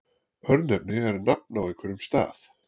örnefni er nafn á einhverjum stað